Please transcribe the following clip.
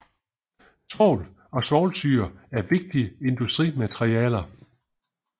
Svovl og svovlsyre er vigtige industrimaterialer